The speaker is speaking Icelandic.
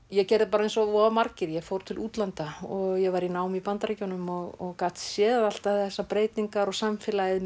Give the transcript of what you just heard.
ég gerði bara eins og voða margir ég fór til útlanda og ég var í námi í Bandaríkjunum og gat séð alltaf þessar breytingar og samfélagið